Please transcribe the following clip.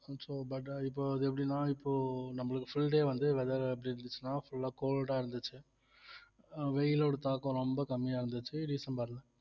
so but இப்ப அது எப்படின்னா இப்போ நம்மளுக்கு full day வந்து weather எப்படி இருந்துச்சுன்னா full ஆ cold ஆ இருந்துச்சு அஹ் வெயிலோட தாக்கம் ரொம்ப கம்மியா இருந்துச்சு டிசம்பர்ல